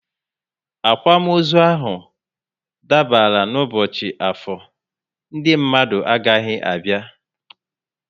Akwamozu ahụ dabara n' ubochi Afor, Ndị mmadụ agaghị abịa